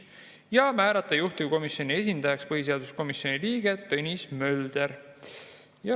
Otsustati määrata juhtivkomisjoni esindajaks põhiseaduskomisjoni liige Tõnis Mölder.